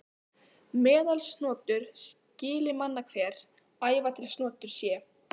Meðalsnotur skyli manna hver, æva til snotur sé.